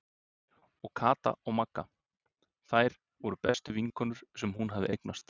Og Kata og Magga, þær voru bestu vinkonur sem hún hafði eignast.